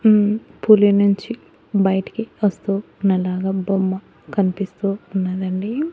ఉమ్ పులి నుంచి బయటికి వస్తూ వున్న లాగా బొమ్మ కన్పిస్తూ వున్నదండి.